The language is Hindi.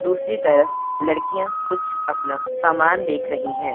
दूसरी तरफ लड़कियां कुछ अपना समान देख रही हैं।